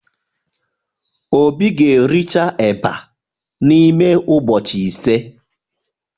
Obi ga-ericha eba n'ime ụbọchị ise